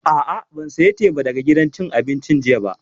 A'a, ban saya teba daga gidan cin abincin jiya ba